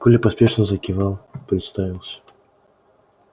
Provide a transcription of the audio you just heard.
коля поспешно закивал представился